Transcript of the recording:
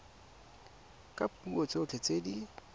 ka dipuo tsotlhe tse di